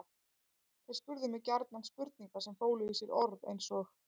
Þeir spurðu mig gjarnan spurninga sem fólu í sér orð eins og